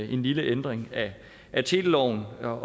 en lille ændring af teleloven så